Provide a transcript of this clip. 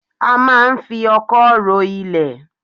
A máa ń fi ọkọ́ ro ilẹ̀